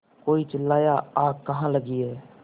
कोई चिल्लाया आग कहाँ लगी है